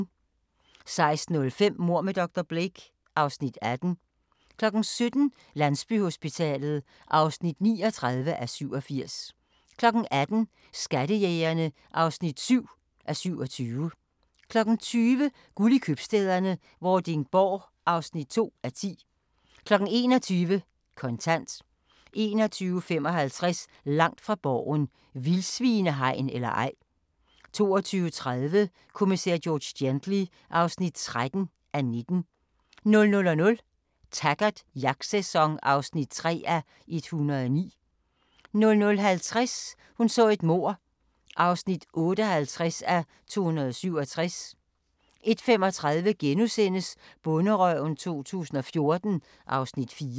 16:05: Mord med dr. Blake (Afs. 18) 17:00: Landsbyhospitalet (39:87) 18:00: Skattejægerne (7:27) 20:00: Guld i Købstæderne - Vordingborg (2:10) 21:00: Kontant 21:55: Langt fra Borgen: Vildsvinehegn eller ej? 22:30: Kommissær George Gently (13:19) 00:00: Taggart: Jagtsæson (3:109) 00:50: Hun så et mord (58:267) 01:35: Bonderøven 2014 (Afs. 4)*